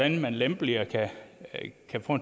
en lempeligere